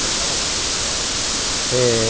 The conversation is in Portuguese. Pode falar. É...